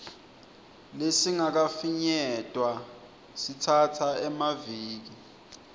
lesingakafinyetwa sitsatsa emaviki